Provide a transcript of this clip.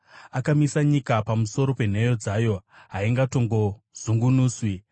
Akamisa nyika pamusoro penheyo dzayo; haingatongozungunuswi.